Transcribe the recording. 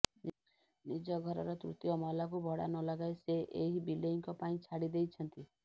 ନିଜ ଘରର ତୃତୀୟ ମହଲାକୁ ଭଡା ନଲଗାଇ ସେ ଏହି ବିଲେଇଙ୍କ ପାଇଁ ଛାଡି ଦେଇଛନ୍ତି